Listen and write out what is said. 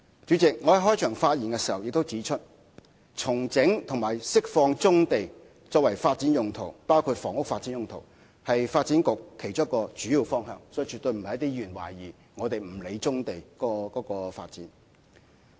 主席，我在開場發言中已指出，重整和釋放棕地作發展用途，包括房屋發展用途，是發展局其中一個主要方向，而絕對不是有些議員所懷疑的，以為我們不理棕地的發展。